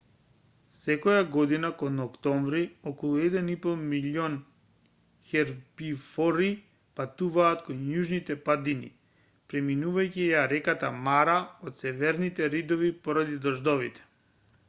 секоја година кон октомври околу 1,5 милиони хербивори патуваат кон јужните падини преминувајќи ја реката мара од северните ридови поради дождовите